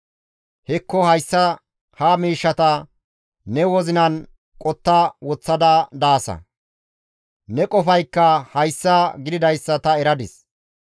«Hekko hayta ha miishshata ne wozinan qotta woththada daasa; ne qofaykka hayssa gididayssa ta eradis.